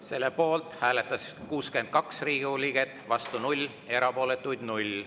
Selle poolt hääletas 62 Riigikogu liiget, vastu 0, erapooletuid 0.